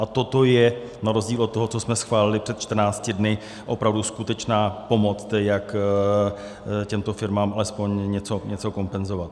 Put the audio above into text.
A toto je na rozdíl od toho, co jsme schválili před 14 dny, opravdu skutečná pomoc, jak těmto firmám alespoň něco kompenzovat.